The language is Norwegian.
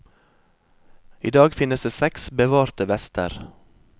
I dag finnes det seks bevarte vester.